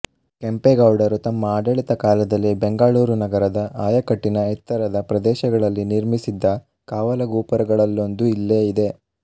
ಕೆಂಪೇಗೌಡರು ತಮ್ಮ ಆಡಳಿತ ಕಾಲದಲ್ಲಿ ಬೆಂಗಳೂರು ನಗರದ ಆಯಕಟ್ಟಿನ ಎತ್ತರದ ಪ್ರದೇಶಗಳಲ್ಲಿ ನಿರ್ಮಿಸಿದ್ದ ಕಾವಲು ಗೋಪುರಗಳಲ್ಲೊಂದು ಇಲ್ಲೇ ಇದೆ